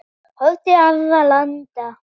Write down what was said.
Horfum til annarra landa.